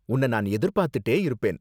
உன்ன நான் எதிர்பாத்துட்டே இருப்பேன்.